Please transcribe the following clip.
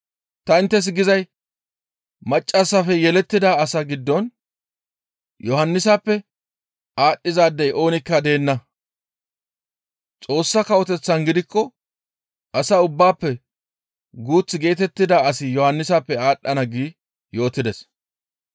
«Tani inttes gizay maccassafe yelettida asaa giddon Yohannisappe aadhdhizaadey oonikka deenna; Xoossa Kawoteththan gidikko as ubbaafe guuth geetettida asi Yohannisappe aadhdhana» gi yootides.